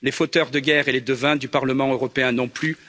Les fauteurs de guerre et les devins du Parlement européen non plus.